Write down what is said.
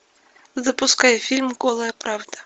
запускай фильм голая правда